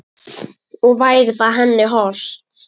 Og væri það henni hollt?